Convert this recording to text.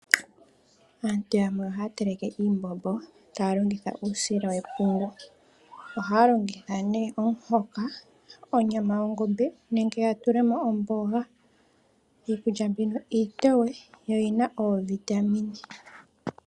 Aantu yamwe ohaa teleke iimbombo taya longitha uusila wepungu. Ohaa longitha nee omuhoka onyama yongombe nenge ya tule mo omboga. Iikulya mbino iitowe noyi na oovitamine.